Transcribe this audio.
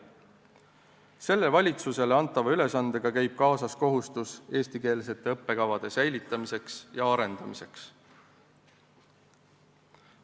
Selle valitsusele antava ülesandega käib kaasas kohustus arendada ja säilitada eestikeelseid õppekavasid.